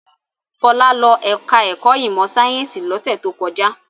Fọlá lọ ẹ̀ka-ẹ̀kọ́ ìmọ̀-sáyẹ́ńsì lọ́sẹ̀ tó kọjá.